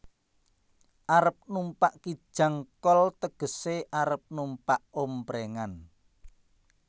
Arep numpak Kijang kol tegesé arep numpak omprèngan